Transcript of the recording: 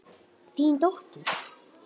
Þín dóttir.